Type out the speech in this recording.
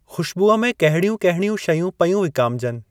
खू़शबूअ में कहिड़ियूं कहिड़ियूं शयूं पयूं विकामिजनि?